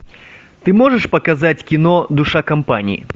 ты можешь показать кино душа компании